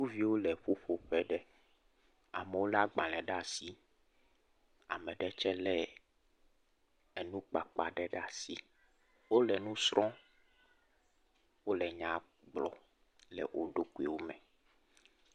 Sukuviwo le ƒuƒoƒe ɖe, amewo lé agbalẽ ɖe asi, ame ɖe tsɛ lé enukpakpa ɖe ɖe asi. Wole nu srɔ̃m, wole nya gblɔ le wo ɖokuiwo me.